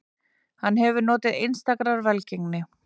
Hann hefur notið einstakrar velgengni